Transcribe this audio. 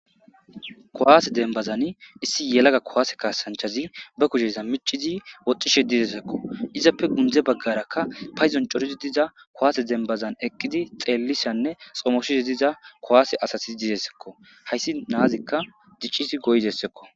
kowaase denbazan issi yelaga kowaase kaasanchazi ba kuheza micizi woxxishe didesekko izappe gundze baggarakka payzon corozi diza kowaase denbazan eqqidi xeellishanne xomoshizi diza kowaase asasi didesekko hayssi naazikka diccisi goydessekko